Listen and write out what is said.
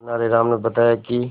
तेनालीराम ने बताया कि